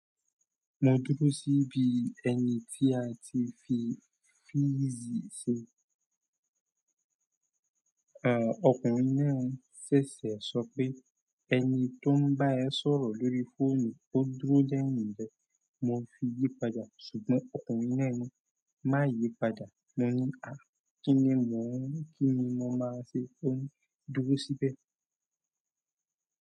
Mo dúró síbi ẹni tí a ti fi físì ṣe. Ọkùnrin náà ṣẹ̀ṣẹ̀ sọ pé ẹni tó ń bá ẹ sọ̀rọ̀ lórí fóònù, ó dúró lẹ́yìn rẹ. Mo fi yí padà, ṣùgbọ́n ọkùnrin náà ní má yí padà. Kini mo maa se. Ó ní, dúró síbẹ̀.